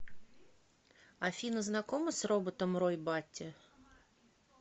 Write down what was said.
афина знакома с роботом рой батти